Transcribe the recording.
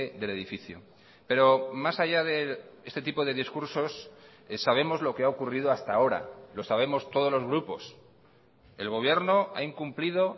del edificio pero más allá de este tipo de discursos sabemos lo que ha ocurrido hasta ahora lo sabemos todos los grupos el gobierno ha incumplido